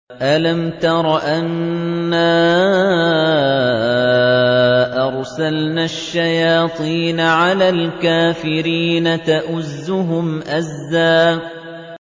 أَلَمْ تَرَ أَنَّا أَرْسَلْنَا الشَّيَاطِينَ عَلَى الْكَافِرِينَ تَؤُزُّهُمْ أَزًّا